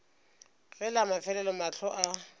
ge la mafelelo mahlo a